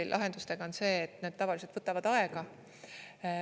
Digilahendustega on see, et need tavaliselt võtavad aega.